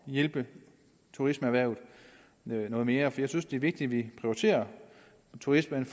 hjælpe turismeerhvervet noget mere for jeg synes det er vigtigt at vi prioriterer turismen